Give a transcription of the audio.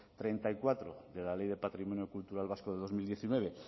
treinta y cuatro de la ley de patrimonio cultural vasco de dos mil diecinueve